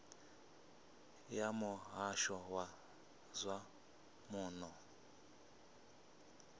ya muhasho wa zwa muno